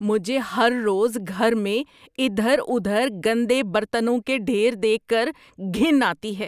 مجھے ہر روز گھر میں ادھر ادھر گندے برتنوں کے ڈھیر دیکھ کر گھن آتی ہے۔